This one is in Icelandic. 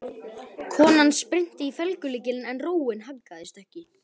Konan spyrnti í felgulykilinn en róin haggaðist ekki.